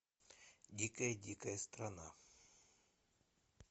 дикая дикая страна